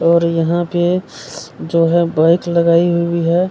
और यहाँ पे जो है बाइक लगाई हुई है --